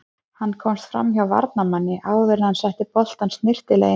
Hann komst framhjá varnarmanni áður enn hann setti boltann snyrtilega í netið.